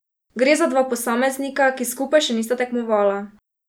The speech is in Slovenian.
Gre za dva posameznika, ki skupaj še nista tekmovala.